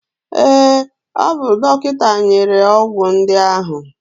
Ee, o bu dọkịta nyere ọgwụ ndị ahụ.